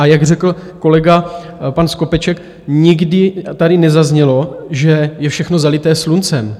A jak řekl kolega pan Skopeček, nikdy tady nezaznělo, že je všechno zalité sluncem.